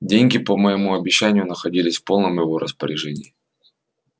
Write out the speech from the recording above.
деньги по моему обещанию находились в полном его распоряжении